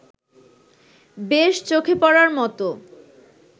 বেশ চোখে পড়ার মতো